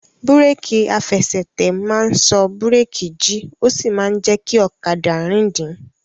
Búrèkì àfẹsẹ̀tẹ̀ máa n sọ búrèkì jí ó sì máa jẹ kí ọ̀kadà rìndìn